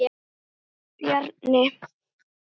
Þinn Bjarni.